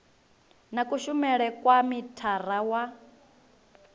na kushumele kwa mithara wa